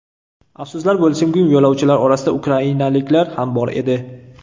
Afsuslar bo‘lsinkim, yo‘lovchilar orasida ukrainaliklar ham bor edi.